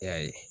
E y'a ye